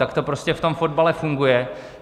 Tak to prostě v tom fotbale funguje.